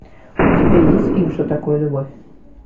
у тебя есть фильм что такое любовь